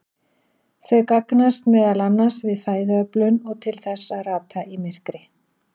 Þau gagnast meðal annars við fæðuöflun og til þess að rata í myrkri.